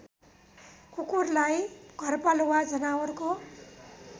कुकुरलाई घरपालुवा जनावरको